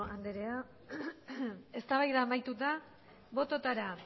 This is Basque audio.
andrea eztabaida amaituta bototara